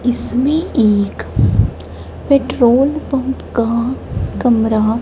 इसमें एक petrol pump का कमरा--